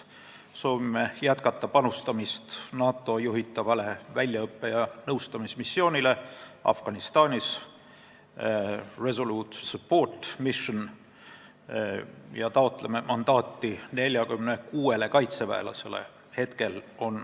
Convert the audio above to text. Soovime jätkata panustamist NATO juhitavasse väljaõppe- ja nõustamismissiooni Afganistanis ja taotleme mandaati 46 kaitseväelasele.